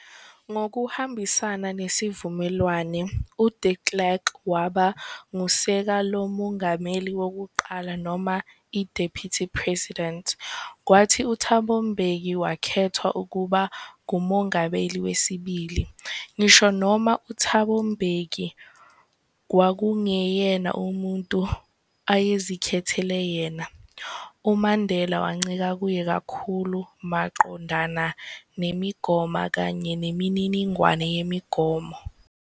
Ngokuhambisana nezivumelwano, uDe Klerk waba ngusekelamongameli wokuqala noma i-Deputy President, kwathi uThabo Mbeki wakethwa ukuba ngumongameli wesibili. Ngisho noma uThabo Mbeki kwakungeyena umuntu ayezikhethel yena, uMandela wancika kuye kakhulu maqondana nemigomo kanye nemininingwane yemigomo.